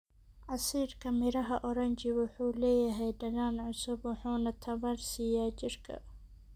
Casiirka miraha oranji wuxuu leeyahay dhadhan cusub wuxuuna tamar siiya jirka.